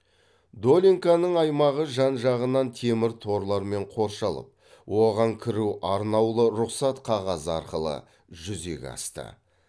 долинканың аймағы жан жағынан темір торлармен қоршалып оған кіру арнаулы рұқсат қағазы арқылы жүзеге асты